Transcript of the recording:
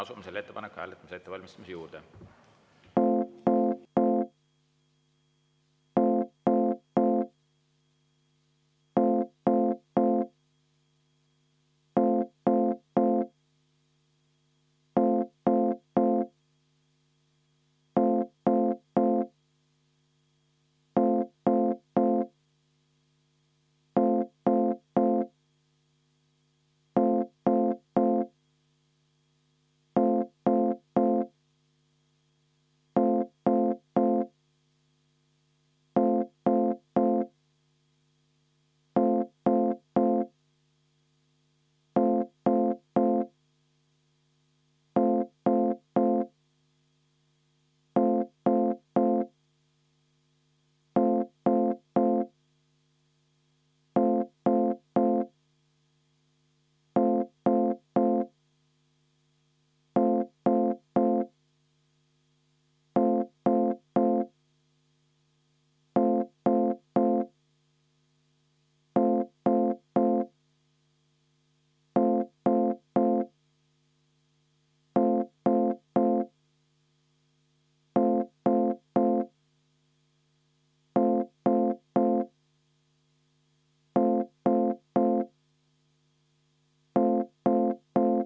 Asume selle ettepaneku hääletamise ettevalmistamise juurde.